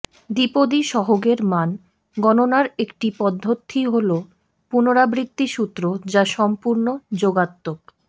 দ্বিপদী সহগের মান গণনার একটি পদ্ধতি হলো পুনরাবৃত্তি সূত্র যা সম্পূর্ণ যোগাত্মক